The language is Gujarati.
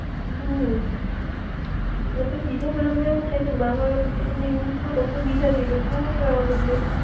હ મ, નકર બીજા બધા માં એવું થઈ કે બાર વાગા પછી તમે યુઝ કરો તો બીજા દિવસ નું વાપરવા મંડે